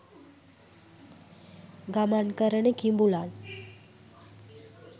ගමන් කරන කිඹුලන්